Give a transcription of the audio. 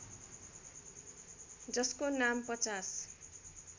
जसको नाम ५०